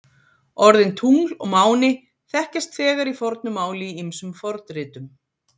Orðin tungl og máni þekkjast þegar í fornu máli í ýmsum fornritum.